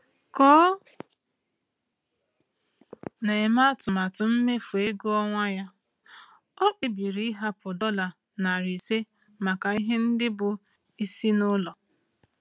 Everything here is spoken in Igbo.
Ka o na-eme atụmatụ mmefu ego ọnwa ya, ọ kpebiri ịhapụ dollar 500 maka ihe ndị bụ isi n’ụlọ.